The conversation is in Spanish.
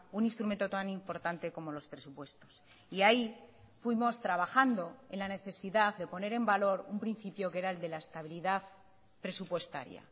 un instrumento tan importante como los presupuestos y ahí fuimos trabajando en la necesidad de poner en valor un principio que era el de la estabilidad presupuestaria